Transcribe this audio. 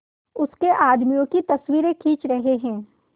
उसके आदमियों की तस्वीरें खींच रहे हैं